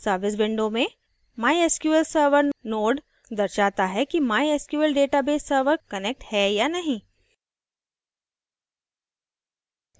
service window में mysql server node दर्शाता है कि mysql database server connected है या नहीं